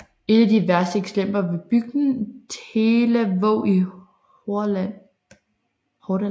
Et af de værste eksempler var bygden Telavåg i Hordaland